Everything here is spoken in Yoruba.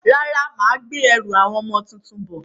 Rárá, mà á gbé àwọn ẹrù ọmọ tuntun bọ̀.